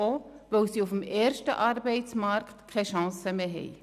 Dies auch, weil sie auf dem ersten Arbeitsmarkt keine Chance mehr haben.